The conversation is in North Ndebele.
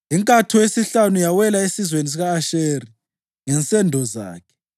Inkatho yesihlanu yawela esizwaneni sika-Asheri ngensendo zakhe.